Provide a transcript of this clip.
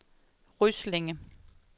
Ryslinge